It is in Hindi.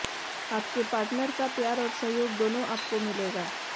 आपके पार्टनर का प्यार और सहयोग दोनों आपको मिलेगा